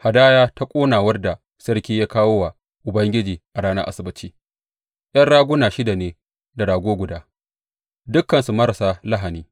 Hadaya ta ƙonawar da sarki ya kawo wa Ubangiji a ranar Asabbaci ’yan raguna shida ne da rago guda, dukansu marasa lahani.